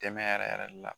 Dɛmɛ yɛrɛ yɛrɛ de la